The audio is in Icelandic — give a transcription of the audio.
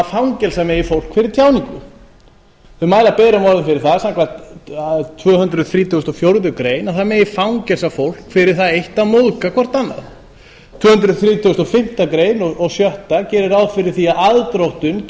fangelsa megi fólk fyrir tjáningu þau mæla berum orðum fyrir það samkvæmt tvö hundruð þrítugustu og fjórðu grein að það megi fangelsa fólk fyrir það eitt að móðga hvert annað tvö hundruð þrítugustu og fimmtu greinar og tvö hundruð þrítugustu og sjötta gera ráð fyrir því að aðdróttun